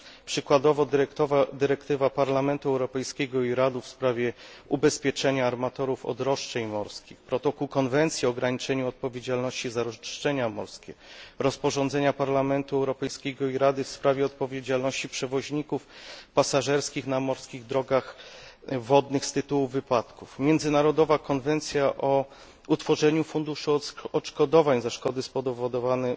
Przykładowo dyrektywa Parlamentu Europejskiego i Rady w sprawie ubezpieczenia armatorów od roszczeń morskich, protokół zmieniający konwencję o ograniczeniu odpowiedzialności za roszczenia morskie, rozporządzenie Parlamentu Europejskiego i Rady w sprawie odpowiedzialności przewoźników pasażerskich na morskich drogach wodnych z tytułu wypadków, międzynarodowa konwencja o utworzeniu funduszu odszkodowań za szkody spowodowane